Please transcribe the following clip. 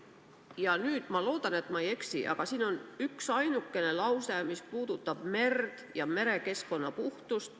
Ja nüüd – ma loodan, et ma ei eksi – siin on üksainuke lause, mis puudutab merd ja merekeskkonna puhtust.